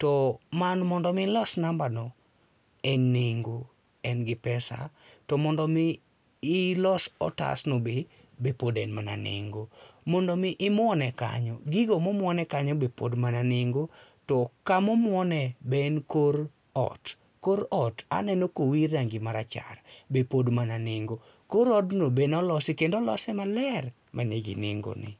to mondo mi ilos nambano, en nengo, en gi pesa, to mondo mi ilos otasno be be pod en mana nengo. Mondo mi imuone kanyo gigo momuone kanyo be pod en mana nengo. To kama omuone be en kor ot, kor ot aneno ka owir rangi marachar be pod mana nengo. Kor odno be ne olosi kendo olose maler, mani gi nengo ne.